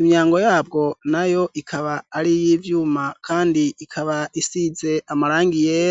Imyango yabwo na yo ikaba ari iy'ivyuma kandi ikaba isize amarangi yera.